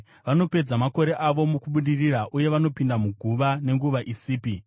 Vanopedza makore avo mukubudirira uye vanopinda muguva nenguva isipi.